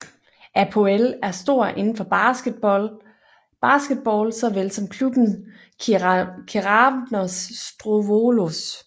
Apoel er stor inden for basketball såvel som klubben Keravnos Strovolos